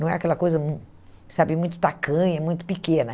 Não é aquela coisa hum sabe muito tacanha, muito pequena.